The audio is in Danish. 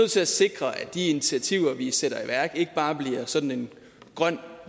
til at sikre at de initiativer vi sætter i værk ikke bare bliver sådan en grøn